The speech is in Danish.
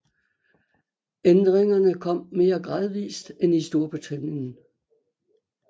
Ændringerne kom mere gradvist end i Storbritannien